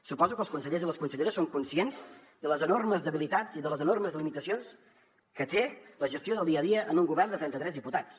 suposo que els consellers i les conselleres són conscients de les enormes debilitats i de les enormes limitacions que té la gestió del dia a dia en un govern de trenta tres diputats